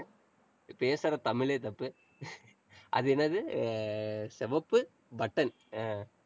பேசுற தமிழே தப்பு அது என்னது? அஹ் சிவப்பு button அஹ்